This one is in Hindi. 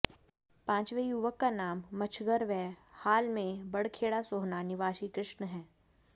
पांचवें युवक का नाम मच्छगर व हाल में बडख़ेड़ा सोहना निवासी कृष्ण है